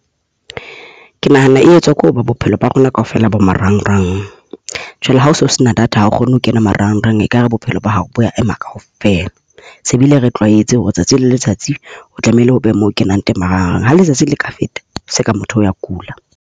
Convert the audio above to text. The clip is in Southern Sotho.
Ke nahana e etswa ke ho ba bophelo ba rona kaofela bo marangrang. Jwale hao so sena data ha o kgone ho kena marangrang ekare bophelo ba hao bo a ema kaofela. Se bile re tlwaetse hore tsatsi le letsatsi o tlamehile ho be mo o kenang teng marangrang. Ha letsatsi le ka feta e seka motho o a kula.